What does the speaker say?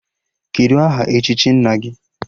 Kedụ aha echichi nna gị?